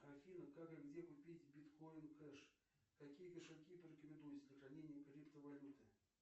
афина как и где купить биткоин кэш какие кошельки порекомендуете для хранения криптовалюты